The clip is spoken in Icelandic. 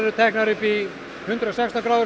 teknar upp í hundrað og sextán gráður